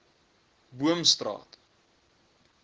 boomstraat